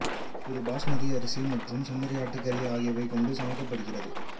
இது பாசுமதி அரிசி மற்றும் செம்மறி ஆட்டுக் கறி ஆகியவை கொண்டு சமைக்கப்படுகிறது